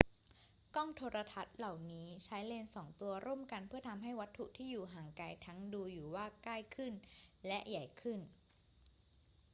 กล้องโทรทรรศน์เหล่านี้ใช้เลนส์สองตัวร่วมกันเพื่อทำให้วัตถุที่อยู่ห่างไกลทั้งดูว่าอยู่ใกล้ขึ้นและใหญ่ขึ้น